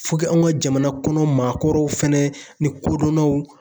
anw ka jamana kɔnɔ maakɔrɔw fɛnɛ ni kodɔnnaw